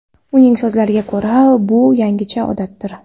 Uning so‘zlariga ko‘ra, bu yangicha odatdir.